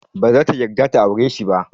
Baza ta yarda ta aure shi ba.